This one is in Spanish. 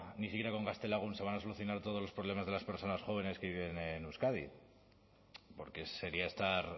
ni siquiera con gaztelagun se van a solucionar todos los problemas de las personas jóvenes que viven en euskadi porque sería estar